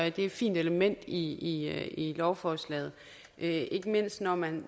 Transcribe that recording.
et fint element i i lovforslaget ikke mindst når man